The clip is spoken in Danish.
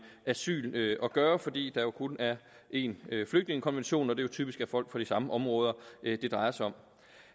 asyl at gøre fordi der jo kun er én flygtningekonvention og det jo typisk er folk fra de samme områder det drejer sig om